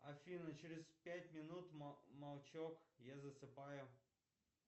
афина через пять минут молчок я засыпаю